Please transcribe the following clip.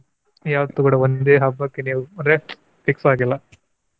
ಯಾವತ್ತೂ ಕೂಡ ಒಂದೇ ಹಬ್ಬಕ್ಕೆ ನೀವು ಅಂದ್ರೆ fix ಆಗಿಲ್ಲ.